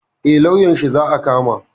Eh lauyanshi za a kama